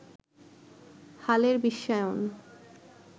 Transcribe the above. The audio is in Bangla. হালের বিশ্বায়ন